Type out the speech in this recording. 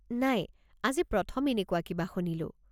নাই, আজি প্ৰথম এনেকুৱা কিবা শুনিলোঁ!